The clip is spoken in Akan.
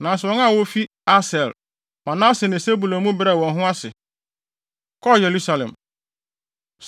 Nanso wɔn a wofi Aser, Manase ne Sebulon mu bi brɛɛ wɔn ho ase, kɔɔ Yerusalem.